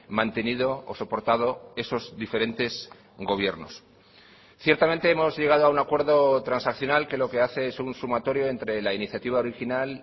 mantenido o soportado esos diferentes gobiernos ciertamente hemos llegado a un acuerdo transaccional que lo que hace es un sumatorio entre la iniciativa original